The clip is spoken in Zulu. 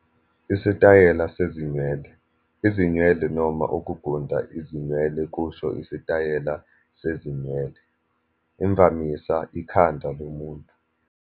Isitayela sezinwele, izinwele noma ukugunda izinwele kusho isitayela sezinwele, imvamisa ekhanda lomuntu.